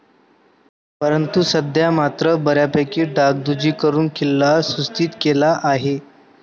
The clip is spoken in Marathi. परंतु सध्या मात्र बऱ्यापकी डागडुजी करून किल्ला सुस्थित केला आहे.